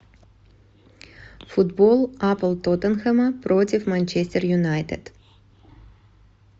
футбол апл тоттенхэма против манчестер юнайтед